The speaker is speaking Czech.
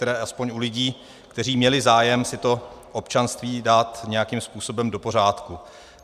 Tedy alespoň u lidí, kteří měli zájem si to občanství dát nějakým způsobem do pořádku.